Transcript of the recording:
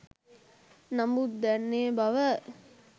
නමුත් දැන් ඒ බව